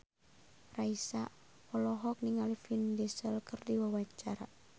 Raisa olohok ningali Vin Diesel keur diwawancara